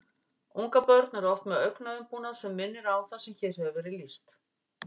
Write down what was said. Ungabörn eru oft með augnaumbúnað sem minnir á það sem hér hefur verið lýst.